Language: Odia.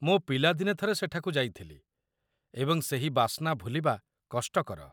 ମୁଁ ପିଲାଦିନେ ଥରେ ସେଠାକୁ ଯାଇଥିଲି ଏବଂ ସେହି ବାସ୍ନା ଭୁଲିବା କଷ୍ଟକର।